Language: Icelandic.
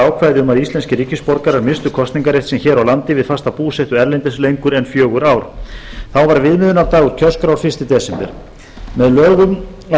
að íslenskir ríkisborgarar misstu kosningarrétt sinn hér á landi við fasta búsetu erlendis lengur en fjögur ár þá var viðmiðunardagur kjörskrár fyrsta desember með lögum árið nítján hundruð áttatíu